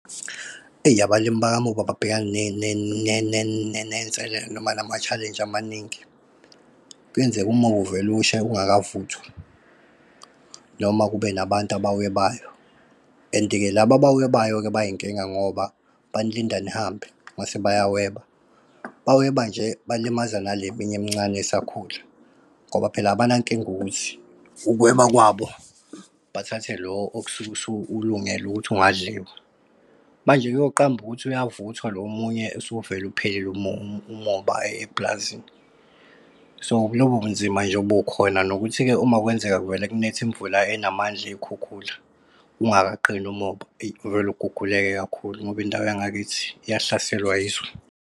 Eyi, abalimi bakamoba babhekana ney'nselelo noma nama-challenge amaningi. Kwenzeke umoba uvele ushe ungakavuthwa, noma kube nabantu abawuwebayo. And-ke laba abawuwebayo-ke bayinkinga, ngoba banilinda nihambe mase bayaweba. Baweba nje balimaza nale minye emncane esakhula, ngoba phela abanankinga ukuthi ukuweba kwabo bathathe lo okusuke usulungele ukuthi ungadliwa. Manje kuyoqamba ukuthi uyavuthwa lo omunye usuvele uphelile umoba eplazini. So lobu bunzima nje bukhona nokuthi ke uma kwenzeka kuvele kunetha imvula enamandla, iy'khukhula, ungakaqini umoba, eyi, kuvele uguguleke kakhulu, ngoba indawo yangakithi iyahlaselwa yiso.